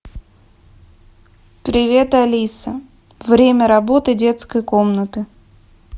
привет алиса время работы детской комнаты